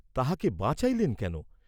তাহাকে বাঁচাইলেন কেন?